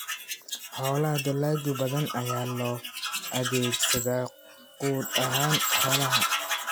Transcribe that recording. Xoolaha Dalagyo badan ayaa loo adeegsadaa quud ahaan xoolaha.